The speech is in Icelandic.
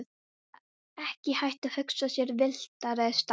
Það er ekki hægt að hugsa sér villtari stað.